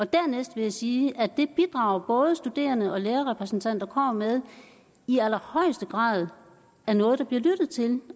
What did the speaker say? dernæst vil jeg sige at det bidrag både studerende og lærerrepræsentanter kommer med i allerhøjeste grad er noget der bliver lyttet til